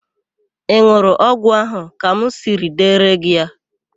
Ị n̄ụrụ ọgwụ ahụ ka m siri dere gị ya?